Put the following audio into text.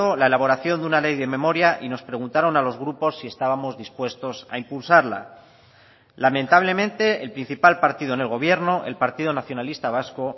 la elaboración de una ley de memoria y nos preguntaron a los grupos si estábamos dispuestos a impulsarla lamentablemente el principal partido en el gobierno el partido nacionalista vasco